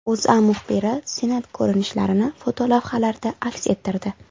O‘zA muxbiri Senat ko‘rinishlarini fotolavhalarda aks ettirdi .